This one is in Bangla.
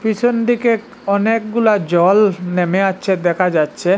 পিসনদিকে অনেকগুলা জল নেমে আচে দেখা যাচ্ছে।